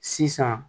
Sisan